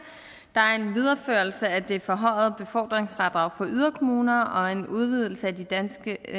der er en videreførelse af det forhøjede befordringsfradrag for yderkommuner og en udvidelse med de danske